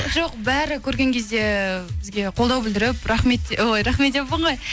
жоқ бәрі көрген кезде бізге қолдау білдіріп рахмет ой рахмет деппін ғой